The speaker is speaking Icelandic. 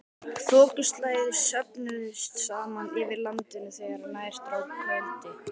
Þokuslæður söfnuðust saman yfir landinu þegar nær dró kvöldi.